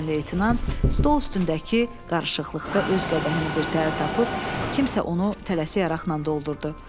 Cavan leytenant stol üstündəki qarışıqlıqda öz qədəhini birtəhər tapıb, kimsə onu tələsi araqla doldurdu.